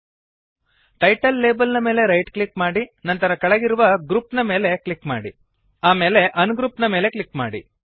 title label ನ ಮೇಲೆ right click ಮಾಡಿ ನಂತರ ಕೆಳಗಿರುವ ಗ್ರೂಪ್ ನ ಮೇಲೆ ಕ್ಲಿಕ್ ಮಾಡಿ ಆಮೇಲೆ ಅನ್ಗ್ರೂಪ್ ನ ಮೇಲೆ ಕ್ಲಿಕ್ ಮಾಡಿ